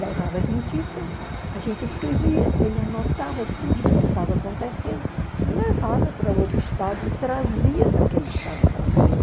Levava as notícias, a gente escrevia, ele anotava tudo que estava acontecendo e levava para outro estado, trazia daquele estado para nós.